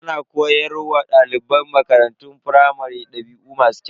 Ana koyar wa daliban makarantun firamare dabi'u masu kyau.